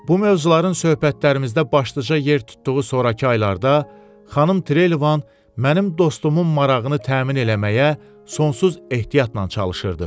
Bu mövzuların söhbətlərimizdə başlıca yer tutduğu sonrakı aylarda, Xanım Trelevan mənim dostumun marağını təmin eləməyə sonsuz ehtiyatla çalışırdı.